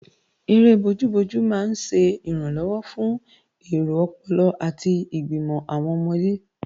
Eré bojú-bojú máa ń ṣẹ ìrànlọ́wọ́ fún èro ọpọlọ àti ìgbìmò àwọn ọmọdé